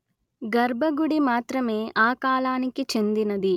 గర్భగుడి మాత్రమే ఆ కాలానికి చెందినది